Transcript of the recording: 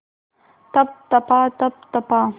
तप तपा तप तपा